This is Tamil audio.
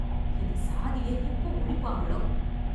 இந்த சாதியை எப்போ ஒழிப்பாங்களோ?